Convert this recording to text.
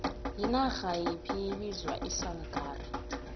yinarha yiphi bizwa icalgary